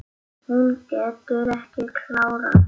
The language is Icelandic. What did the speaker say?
Hún getur ekki klárað.